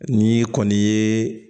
Ni kɔni ye